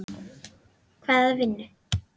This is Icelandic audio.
Hvaða vinnu?